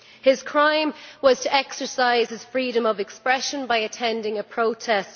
His crime was to exercise his freedom of expression by attending a protest.